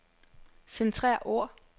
Centrer ord.